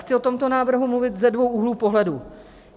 Chci o tomto návrhu mluvit ze dvou úhlů pohledu.